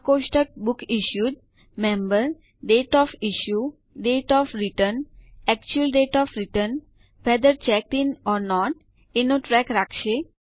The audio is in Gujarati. આ કોષ્ટક book issued the member date of issue date of return actual date of return whether checked in or not એનો ટ્રેક રાખશે